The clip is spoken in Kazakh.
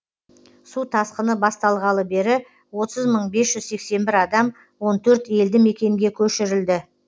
су тасқыны басталғалы бері отыз мың бес жүз сексен бір адам он төрт елді мекенге көшірілді